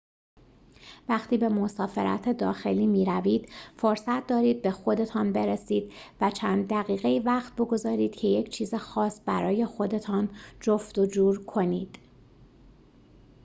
وقتی به مسافرت داخلی می‌روید فرصت دارید به خودتان برسید و چند دقیقه‌ای وقت بگذارید که یک چیز خاص برای خودتان جفت و جور کنید